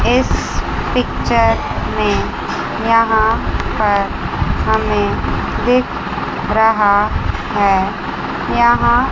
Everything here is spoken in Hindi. इस पिक्चर में यहां पर हमें दिख रहा है यहां--